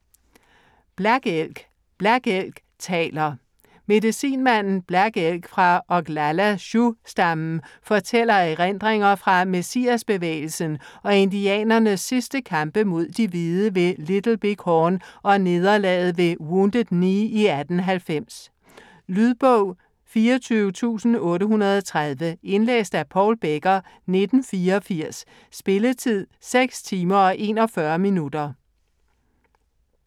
Black Elk: Black Elk taler... Medicinmanden Black Elk fra Oglala Sioux-stammen fortæller erindringer fra Messiasbevægelsen og indianernes sidste kampe mod de hvide ved Little Big Horn og nederlaget ved Wounded Knee i 1890. Lydbog 24830 Indlæst af Paul Becker, 1984. Spilletid: 6 timer, 41 minutter.